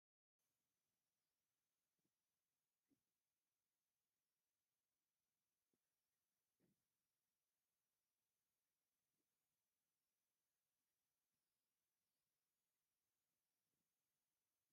ካብ ንፋስ ሓይሊ ኤለክትሪክ ዘመንጭዉ ታራባይናት ይትከሉ ኣለዉ፡፡ እዞም ናይ ንፋስ ተርባይናት ሓምለዋይ ልምዓት ንምምፃእ ዘለዎም ኣበርክቶ ብኸመይ ክግለፅ ይኽእል?